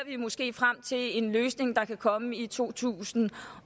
frem til en løsning der kan komme i to tusind